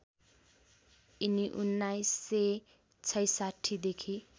यिनी १९६६ देखि